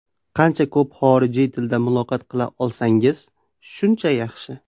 Qancha ko‘p xorijiy tilda muloqot qila olsangiz, shuncha yaxshi.